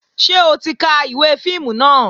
Ṣé o ti ka ìwé fíìmù náà?